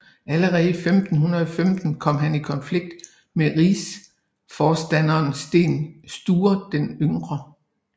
Allerede i 1515 kom han i konflikt med rigsforstanderen Sten Sture den yngre